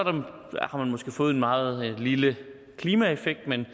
fået en meget lille klimaeffekt men